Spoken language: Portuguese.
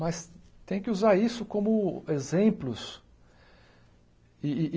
Mas tem que usar isso como exemplos.